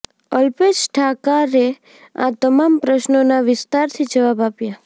અલ્પેશ ઠાકારે આ તમામ પ્રશ્નોના વિસ્તારથી જવાબ આપ્યા